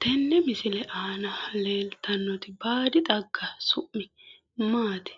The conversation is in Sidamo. Tenne misile aana leeltannoti baadi xagga su'mi maati?